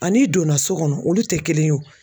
An'i donna so kɔnɔ olu te kelen ye o.